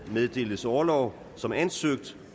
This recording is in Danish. meddeles orlov som ansøgt